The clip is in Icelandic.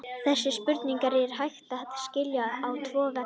Þessa spurningu er hægt að skilja á tvo vegu.